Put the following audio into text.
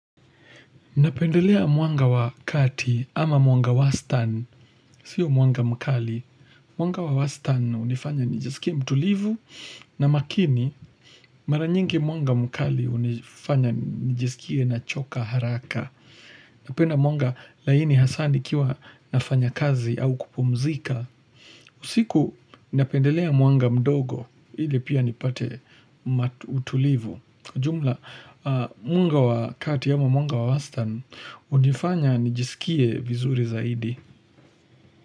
Napendelea mwanga wa kati ama mwanga wa stan. Sio mwanga mkali. Mwanga wa stan unifanya nijesikie mtulivu na makini. Maranyingi mwanga mkali unifanya nijesikie na choka haraka. Napenda mwanga laini hasani kiwa nafanya kazi au kupumzika. Usiku napendelea mwanga mdogo hile pia nipate matutulivu Kwa jumla mwanga wakati ya mwanga wawastan unifanya nijisikie vizuri zaidi.